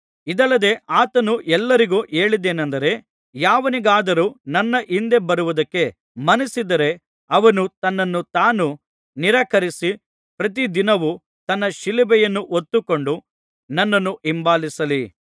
ಇದಲ್ಲದೆ ಆತನು ಎಲ್ಲರಿಗೂ ಹೇಳಿದ್ದೇನಂದರೆ ಯಾವನಿಗಾದರೂ ನನ್ನ ಹಿಂದೆ ಬರುವುದಕ್ಕೆ ಮನಸ್ಸಿದ್ದರೆ ಅವನು ತನ್ನನ್ನು ತಾನು ನಿರಾಕರಿಸಿ ಪ್ರತಿದಿನವು ತನ್ನ ಶಿಲುಬೆಯನ್ನು ಹೊತ್ತುಕೊಂಡು ನನ್ನನ್ನು ಹಿಂಬಾಲಿಸಲಿ